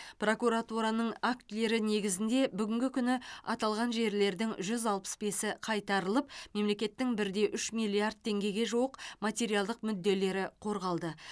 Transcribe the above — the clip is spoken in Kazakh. прокуратураның актілері негізінде бүгінгі күні аталған жерлердің жүз алпыс бесі қайтарылып мемлекеттің бір де үш миллиард теңгеге жуық материалдық мүдделері қорғалды